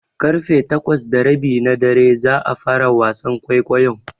Ƙarfe takwas da rabi na dare za a fara wasan kwaikwayon.